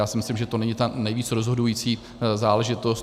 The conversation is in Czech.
Já si myslím, že to není ta nejvíc rozhodující záležitost.